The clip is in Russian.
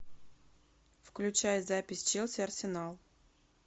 включай запись челси арсенал